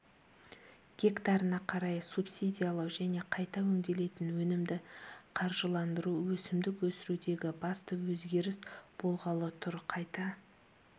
гектарына қарай субсидиялау және қайта өңделетін өнімді қаржыландыру өсімдік өсірудегі басты өзгеріс болғалы тұр қайта